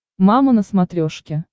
мама на смотрешке